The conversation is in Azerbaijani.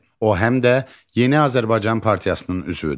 O həm də Yeni Azərbaycan Partiyasının üzvüdür.